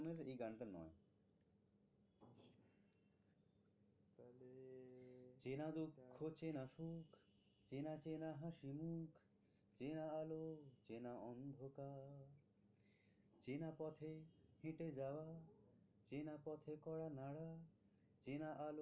চেনা দুঃখ চেনা সুখ চেনা চেনা হাসি মুখ চেনা আলো চেনা অন্ধকার চেনা পথে হেঁটে যাওয়া চেনা পথে কড়া নাড়া চেনা আলো